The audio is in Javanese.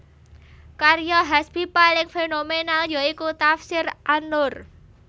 Karya Hasbi paling fenomenal ya iku Tafsir an Nur